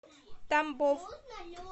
тамбов